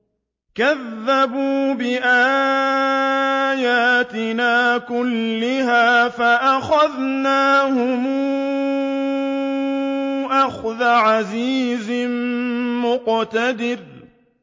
كَذَّبُوا بِآيَاتِنَا كُلِّهَا فَأَخَذْنَاهُمْ أَخْذَ عَزِيزٍ مُّقْتَدِرٍ